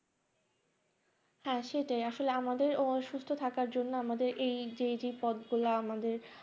হ্যাঁ সেটাই আসলে আমাদের অসুস্থ থাকার জন্য আমাদের এই যে যে পথগুলো আমাদের